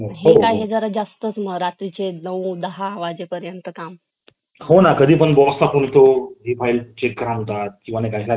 काम करणार आहेत त्यांना घरी बघन आता घरी बघितलं office मध्येच काम करून त्या वेळेत घरी येतात जे की त्यांचा पाच वाजेच्या वाजता सहा पाच वाजेच्या